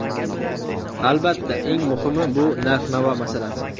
Albatta, eng muhimi bu narx-navo masalasi!